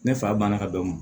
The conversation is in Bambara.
Ne fa banna ka bɛn o ma